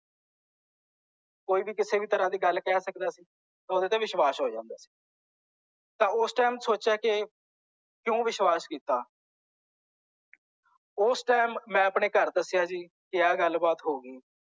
ਕੋਈ ਵੀ ਕਿਸੇ ਤਰ੍ਹਾਂ ਦੀ ਵੀ ਗੱਲ ਕਹਿ ਸਕਦਾ ਸੀ ਤੇ ਉਹਦੇ ਤੇ ਵਿਸ਼ਵਾਸ ਹੋ ਜਾਂਦਾ ਸੀ ਤਾਂ ਓਸ ਟਾਈਮ ਸੋਚਿਆ ਕੇ ਕਿਂਓ ਵਿਸ਼ਵਾਸ ਕੀਤਾ ਓਸ ਟਾਈਮ ਮੈਂ ਆਪਣੇ ਘਰ ਦੱਸਿਆ ਜੀ ਕੀ ਇਹ ਗੱਲ ਬਾਤ ਹੋ ਗਈ